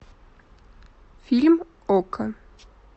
фильм окко